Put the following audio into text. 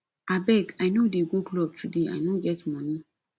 abeg i no dey go club today i no get money